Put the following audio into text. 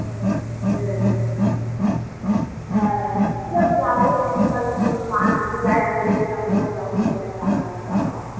হ্যাঁ মা যদি যায় বলবে আমরাও যাবো সবাই তারাপীঠ যাবো